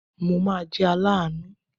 Mo ma jẹ́ aláàánú.